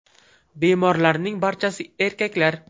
Bemorlarning barchasi erkaklar.